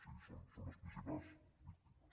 sí són les principals víctimes